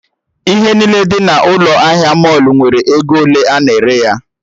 Ihe niile dị n'ụlọ ahịa mọlụ nwere ego ole a na-ere ya